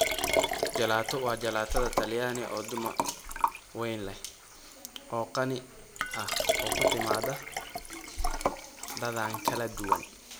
Gelato waa jalaatada talyaani oo dhumuc weyn leh oo qani ah oo ku timaada dhadhan kala duwan.